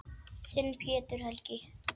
Þinn, Pétur Helgi.